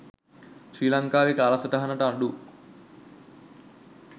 ශ්‍රී ලංකාවේ කාලසටහනට අඩු